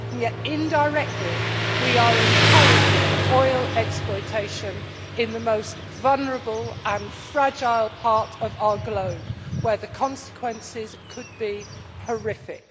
Yet indirectly, we are encouraging oil exploitation in the most vulnerable and fragile part of our globe, where the consequences could be horrific.